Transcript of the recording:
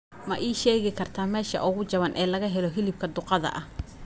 ma ii sheegi kartaa meesha ugu jaban ee laga helo hilibka duqadda ah